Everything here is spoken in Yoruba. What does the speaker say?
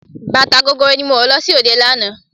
Bàtà gogoro ni mo wọ̀ lọ sí òde lánàá.